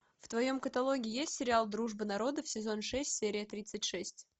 в твоем каталоге есть сериал дружба народов сезон шесть серия тридцать шесть